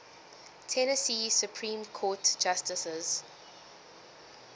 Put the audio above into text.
tennessee supreme court justices